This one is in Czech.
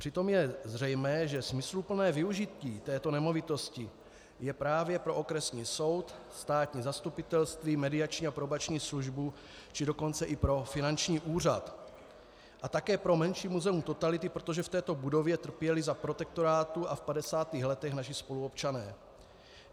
Přitom je zřejmé, že smysluplné využití této nemovitosti je právě pro okresní soud, státní zastupitelství, mediační a probační službu, či dokonce i pro finanční úřad a také pro menší muzeum totality, protože v této budově trpěli za protektorátu a v 50. letech naši spoluobčané.